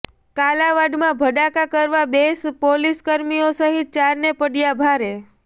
કાલાવડમા ભડાકા કરવા બે પોલીસકર્મીઓ સહીત ચારને પડયા ભારે